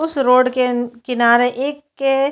उस रोड के किनारे एक के --